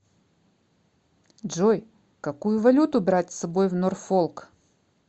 джой какую валюту брать с собой в норфолк